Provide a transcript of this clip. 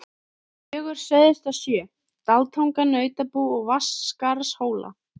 Gjögur suðaustan sjö, Dalatanga, Nautabú, Vatnsskarðshóla.